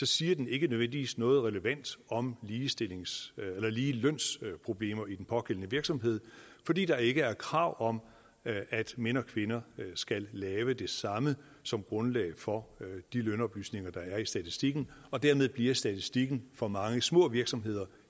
siger den ikke nødvendigvis noget relevant om ligelønsproblemer i den pågældende virksomhed fordi der ikke er krav om at mænd og kvinder skal lave det samme som grundlag for de lønoplysninger der er i statistikken og dermed bliver statistikken for mange små virksomheder